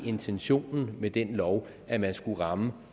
intentionen med den lov at man skulle ramme